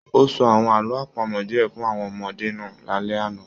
O sọ àwọn àlọ́ àpamọ̀ diẹ fún àwọn ọmọdé náà l'alẹ ana.